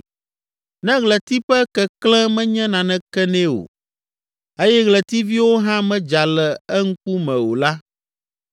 Ne ɣleti ƒe keklẽ menye naneke nɛ o eye ɣletiviwo hã medza le eŋkume o la,